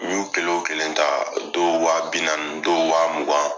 N y'u kelen o kelen ta dɔw waa binaani dow waa mugan